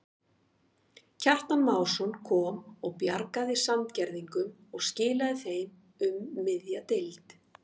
Kjartan Másson kom og bjargaði Sandgerðingum og skilaðu þeim um miðja deild.